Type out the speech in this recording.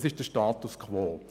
Das ist der Status quo.